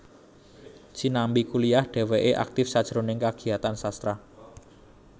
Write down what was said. Sinambi kuliah dhèwèké aktif sajroning kagiyatan sastra